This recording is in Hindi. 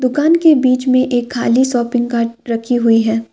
के बीच में एक खाली शॉपिंग रखी हुई है।